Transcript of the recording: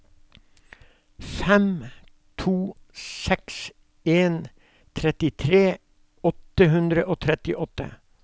fem to seks en trettitre åtte hundre og trettiåtte